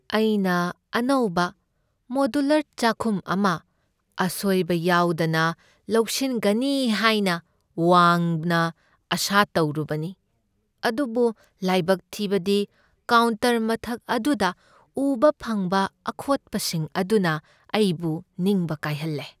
ꯑꯩꯅ ꯑꯅꯧꯕ ꯃꯣꯗ꯭ꯌꯨꯂꯔ ꯆꯥꯈꯨꯝ ꯑꯗꯨ ꯑꯁꯣꯢꯕ ꯌꯥꯎꯗꯅ ꯂꯣꯏꯁꯤꯟꯒꯅꯤ ꯍꯥꯏꯅ ꯋꯥꯡꯅ ꯑꯥꯁꯥ ꯇꯧꯔꯨꯕꯅꯤ, ꯑꯗꯨꯕꯨ ꯂꯥꯢꯕꯛ ꯊꯤꯕꯗꯤ, ꯀꯥꯎꯟꯇꯔ ꯃꯊꯛ ꯑꯗꯨꯗ ꯎꯕ ꯐꯪꯕ ꯑꯈꯣꯠꯄꯁꯤꯡ ꯑꯗꯨꯅ ꯑꯩꯕꯨ ꯅꯤꯡꯕ ꯀꯥꯏꯍꯜꯂꯦ꯫